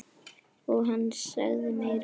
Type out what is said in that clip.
Og hann sagði meira.